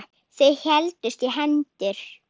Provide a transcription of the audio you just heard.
Þau héldust í hendur.